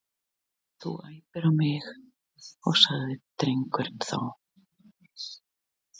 Þú æptir á mig sagði drengurinn þá.